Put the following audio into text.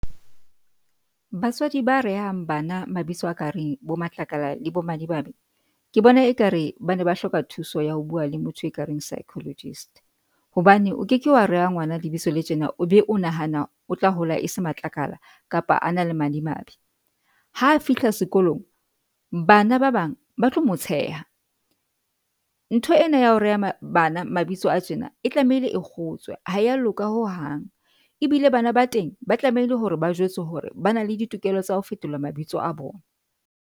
Batswadi ba reang bana mabitso a kareng bo Matlakala le bo Madimabe ke bona ekare bana ba hloka thuso ya ho bua le motho e kareng Psychologist hobane o keke wa rea ngwana lebitso le tjena o be o nahana otla hola e se matlakala kapa a na le madimabe. Ha a fihla sekolong bana ba bang ba tlo mo tsheha. Ntho ena ya ho rea bana mabitso a tjena e tlamehile e kgotswe ha eya loka ho hang ebile bana ba teng ba tlamehile hore ba jwetse hore ba na le ditokelo tsa ho fetola mabitso a bona.